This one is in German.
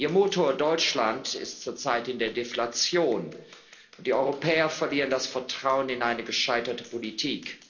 Ihr Motor Deutschland ist zurzeit in der Deflation, und die Europäer verlieren das Vertrauen in eine gescheiterte Politik.